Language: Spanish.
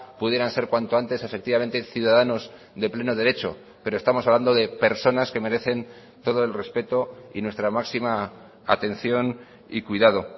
pudieran ser cuanto antes efectivamente ciudadanos de pleno derecho pero estamos hablando de personas que merecen todo el respeto y nuestra máxima atención y cuidado